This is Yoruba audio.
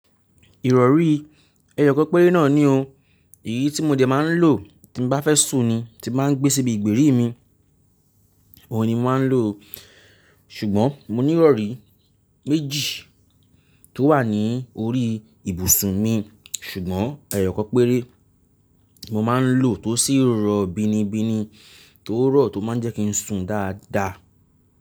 Ìrọ̀rí, ẹyọ kan péré náà ni o. Èyí tí mo jẹ máa ń lò tí mo bá fẹ́ sùn ni ti máa ń gbé síbi ìgbèrí mi, òun ni mo máa ń lò ó. Ṣùgbọ́n mo ní ìrọ̀rí méjì tó wà ní orí ibùsùn mi, ṣùgbọ́n ẹyọ kan péré mo máa ń lò tó sì rọ bínibíni tó rọ̀ tó máa ń jẹ́ kí n sùn dáadáa.